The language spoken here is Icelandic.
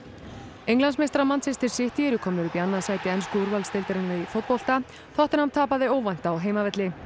Englandsmeistarar City eru komnir upp í annað sæti ensku úrvalsdeildarinnar í fótbolta tottenham tapaði óvænt á heimavelli